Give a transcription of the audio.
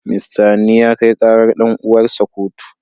Mista Hanni ya kai karar dan'uwarsa kotu.